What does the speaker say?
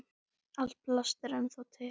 Allt plast er ennþá til.